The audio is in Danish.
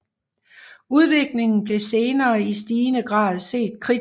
Udviklingen blev senere i stigende grad set kritisk